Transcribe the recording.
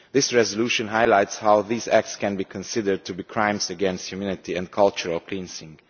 This resolution highlights how these acts can be considered as crimes against humanity and as cultural cleansing.